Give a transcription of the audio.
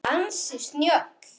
Ansi snjöll!